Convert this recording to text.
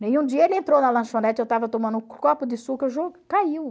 dia ele entrou na lanchonete, eu estava tomando um copo de suco caiu.